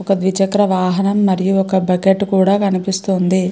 ఒక ద్వి చక్ర వాహనం మరియు ఒక బకెట్ కూడా కనిపిస్తుంది.